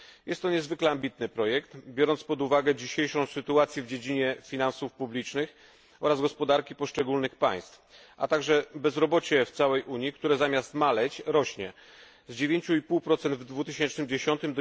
Jest to niezwykle ambitny projekt, biorąc pod uwagę dzisiejszą sytuację w dziedzinie finansów publicznych oraz gospodarki poszczególnych państw, a także bezrobocie w całej Unii, które zamiast maleć, rośnie z 9,5 w 2010 r.